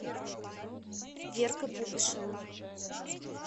верка пупышева